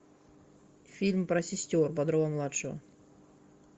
фильм про сестер бодрова младшего